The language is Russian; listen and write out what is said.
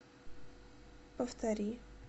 повтори